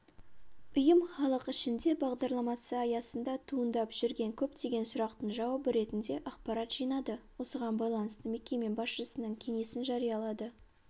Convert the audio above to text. ұйым халық ішінде бағдарламасы аясында туындап жүрген көптеген сұрақтың жауабы ретінде ақпарат жинады осыған байланысты мекеме басшысының кеңесін жариялады